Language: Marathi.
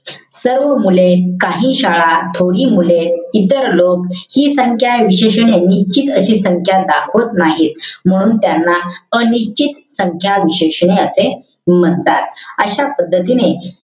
सर्व मुले. काही शाळा. थोडी मुले. इतर लोक. हि संख्या विशेषणे निश्चित अशी संख्या दाखवत नाही. म्हणून त्यांना अनिश्चित संख्या विशेषणे असे म्हणतात. अशा पद्धतीने,